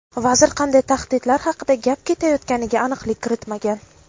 Vazir qanday tahdidlar haqida gap ketayotganiga aniqlik kiritmagan.